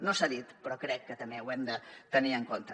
no s’ha dit però crec que també ho hem de tenir en compte